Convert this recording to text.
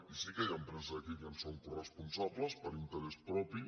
i sí que hi ha empreses aquí que en són coresponsables per interès propi